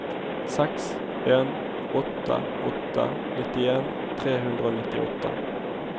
seks en åtte åtte nittien tre hundre og nittiåtte